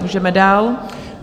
Můžeme dál.